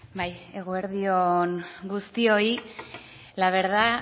bai eguerdi on guztioi la verdad